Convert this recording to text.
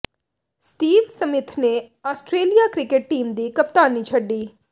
Steve Smith ਨੇ Australia cricket team ਦੀ ਕਪਤਾਨੀ ਛੱਡੀ